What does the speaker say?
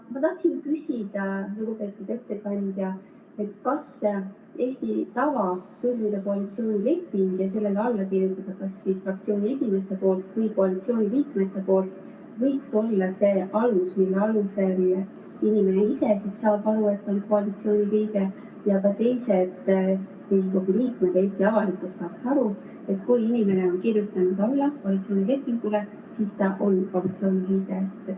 Ma tahtsin küsida, lugupeetud ettekandja, kas Eesti tava sõlmida koalitsioonileping nii, et sellele kirjutab alla kas fraktsiooniesimees või koalitsiooniliikmed, võiks olla see alus, mille põhjal inimene ise saab aru, et ta on koalitsiooni liige, ning ka teised Riigikogu liikmed ja Eesti avalikkus saaksid aru, et kui inimene on kirjutanud alla koalitsioonilepingule, siis ta on koalitsiooni liige.